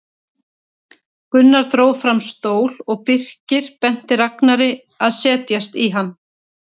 Gunnar dró fram stól og Birkir benti Ragnari að setjast í hann.